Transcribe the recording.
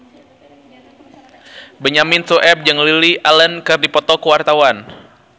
Benyamin Sueb jeung Lily Allen keur dipoto ku wartawan